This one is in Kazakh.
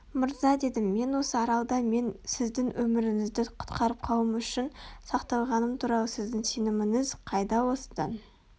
мырза дедім мен осы аралда мен сіздің өміріңізді құтқарып қалуым үшін сақталғаным туралы сіздің сеніміңіз қайда осыдан